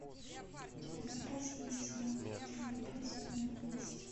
у тебя в запасе есть сериал крутые бобры сезон одиннадцать